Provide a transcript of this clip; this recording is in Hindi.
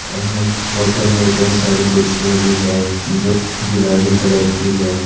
एवं होटल में कई सारी कुर्सियां भी है जो गुलाबी कलर की है।